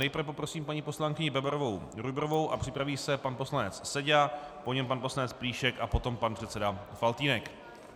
Nejprve poprosím paní poslankyni Bebarovou Rujbrovou a připraví se pan poslanec Seďa, po něm pan poslanec Plíšek a potom pan předseda Faltýnek.